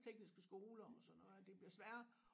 Tekniske skoler og sådan noget at det bliver sværere